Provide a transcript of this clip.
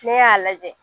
Ne y'a lajɛ